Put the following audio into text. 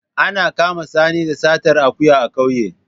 Ana kama Sani da satar akuya a kauye